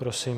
Prosím.